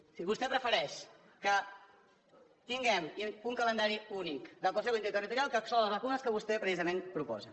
és a dir vostè prefereix que tinguem un calendari únic del consejo interterritorial que exclou les vacunes que vostè precisament proposa